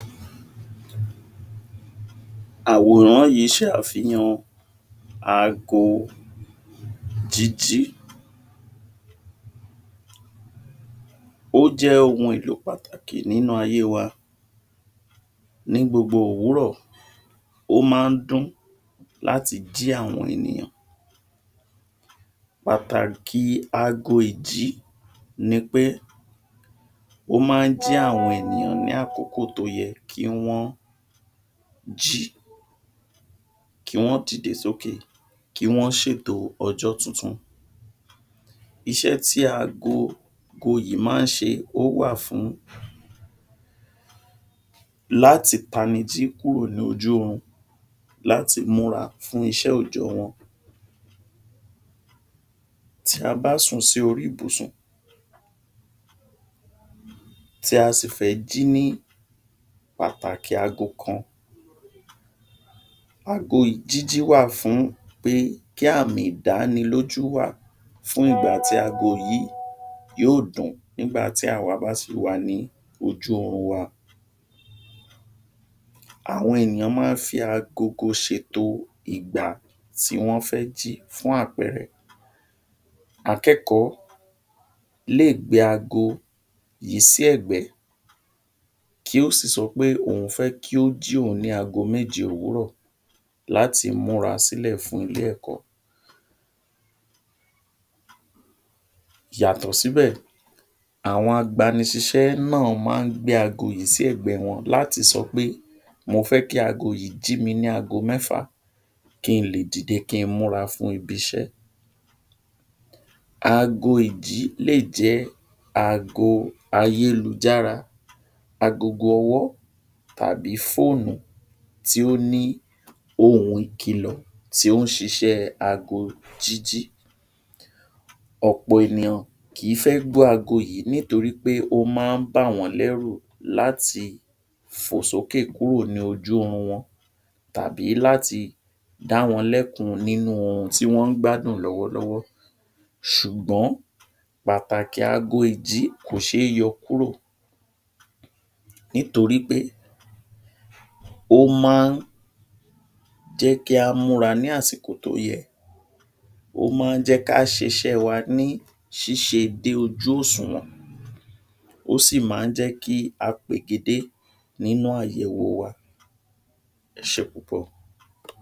àwòrán yìí se àfihàn aago jíjí ó jẹ́ ohun èlò pàtàkì nínú ayé wa ní gbogbo òwúrọ̀ ó ma ń dún láti jí àwọn ènìyàn pàtàkì aago ìjí ni pé ó ma ń jí àwọn ènìyàn ní àkókò tó yẹ kí wọ́n jí kí wọ́n dìde sókè kí wọn ṣètò ọjọ́ tuntun iṣẹ́ tí aago goyì má ń se, ó wà fún láti panijí kúrò lójú orun láti múra fún ìṣé òjòòjọ́ wọn tí a bá sùn sí orí ibùsùn tí a sì fẹ́ jí ní pàtàkì ago kan ago í Jìjì wá fún pé kì ami ̀ìdánilójú wà fún ìgbà tí ago yìí yóò dùn nígbàtí a bá sí wà ní ojú orun wa àwọn ènìyàn ma ń fi agogo ṣèto ìgbà tí wọ́n fẹ́ jí fún àpẹẹrẹ akẹ́kọ̀ọ́ lè gbé aago yìí sí ẹ̀gbẹ́ kí ó sì sọ pé òun fẹ́ kí ó jí òun ní ago méje òwúrọ̀ láti múra sílẹ̀ fún ilé-ẹ̀kọ́ yàtò síbẹ̀ àwọn agbani ṣíṣe náà ma ń gbé ago yìí sí ẹ̀gbẹ́ wọn láti sọ pé mo fẹ́ kí ago yìí jí mi ní ago mẹ́fà kí n lè dìde kí n mura fún ibi’ṣé aago ìjí lè jẹ́ aago ayé lu jára agogo ọwọ́ àbí fóònù tí ó ní ohùn ìkìlọ̀ tí ó ń sisẹ́ aago jíjí ọ̀pọ̀ ènìyàn kì í fé gbọ́ aago yìí nítorí pé ó ma ń bà wọ́n lẹ́rú láti fò s'ókè kúrò ní ojú orun wọn tàbí láti dáwọn lẹ́kun nínú oorun ti wọn ń gbádùn lọ́wọ́ lọ́wọ́ ṣùgbọ́n Bàbà jaago ìjí kò se é yọ kúrò nítorípé ó má á jẹ́kí á mura ní àsìkò tó yẹ ó ma ń jẹ́ kí á sisẹ́ wa ní ṣíṣe ní ojú òṣùwọ̀n ó sì ma ń jẹ́ kí á pegedé nínú àyẹ̀wò wa ẹ sẹ́ púpọ̀